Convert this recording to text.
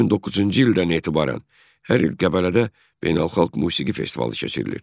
2009-cu ildən etibarən hər il Qəbələdə beynəlxalq musiqi festivalı keçirilir.